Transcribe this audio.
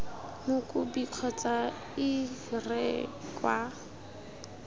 mokopi kgotsa ii re kwa